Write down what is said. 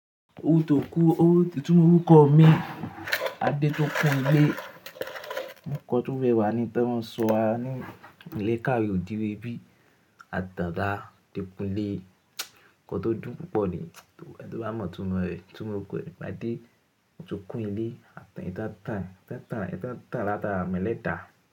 Òwú tókú, owú títú orúkọ mi Adétókúnlé. Ònkọ̀ tó rẹwà ni tí wọ́n sọ wá ní ilé ìkàwé odire bí Adéda Dékunlé. Ònkọ̀ tó dùn púpọ̀ ni. Eni tó bá mọ̀ túmọ̀ rẹ̀, túmọ̀ òkú ẹni bá dé, n tó kún ilé, a tàn ẹ́ tàtàà. Ẹ tàn ẹ́ tàtàà, tàn ẹ́ tàtàà lẹ́tàà.